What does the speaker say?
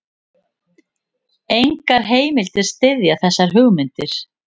Engar heimildir styðja þessar hugmyndir.